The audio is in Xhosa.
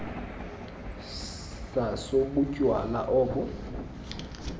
saso butywala obo